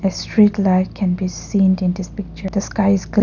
A street light can be seen in this picture the sky is --